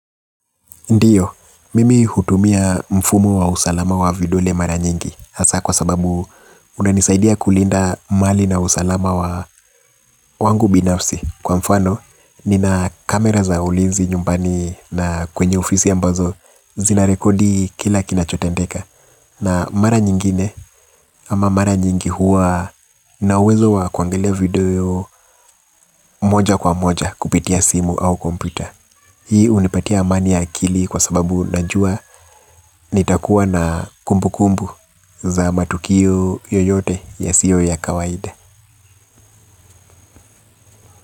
Ndiyo, mimi hutumia mfumo wa usalama wa videole mara nyingi hasa kwa sababu unanisaidia kulinda mali na usalama wangu binafsi. Kwa mfano, nina kamera za ulinzi nyumbani na kwenye ofisi ambazo zinarekodi kile kinacho tendeka. Na mara nyingine ama mara nyingi huwa nina uwezo wa kuangalia video, moja kwa moja kupitia simu au kompyuta. Hii hunipatia amani ya akili kwa sababu najua. Nitakuwa na kumbukumbu za matukio yoyote yasiyo ya kawaida.